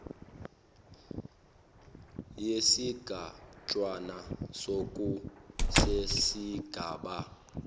yesigatshana soku sesigaba